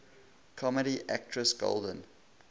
comedy actress golden